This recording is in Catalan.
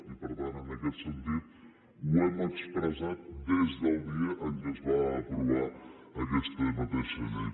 i per tant en aquest sentit ho hem expressat des del dia que es va aprovar aquesta mateixa llei